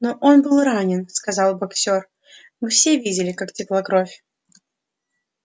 но он был ранен сказал боксёр мы все видели как текла кровь